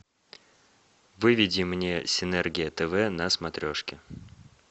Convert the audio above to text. выведи мне синергия тв на смотрешке